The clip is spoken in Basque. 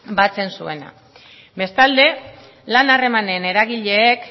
batzen zuena bestalde lan harremanen eragileak